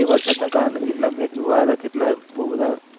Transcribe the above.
એ વરસાદ કારણે કેટલાક match જોવા આયા હતા વરસાદ બહુ બધા